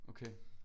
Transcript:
Okay